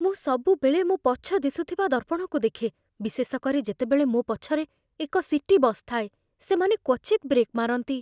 ମୁଁ ସବୁବେଳେ ମୋ ପଛ ଦିଶୁଥିବା ଦର୍ପଣକୁ ଦେଖେ, ବିଶେଷ କରି ଯେତେବେଳେ ମୋ ପଛରେ ଏକ ସିଟି ବସ୍ ଥାଏ। ସେମାନେ କ୍ୱଚିତ୍ ବ୍ରେକ୍ ମାରନ୍ତି